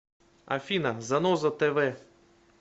афина заноза тэ вэ